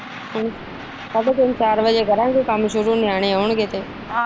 ਸਾਡੇ ਤਿੰਨ ਚਾਰ ਬਜੇ ਕਰਾਗੇ ਕੰਮ ਸ਼ੁਰੂ ਨਿਆਣੇ ਆਉਣਗੇ ਤੇ।